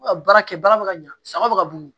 baara kɛ bara bɛ ka ɲa sagaw bɛ ka boli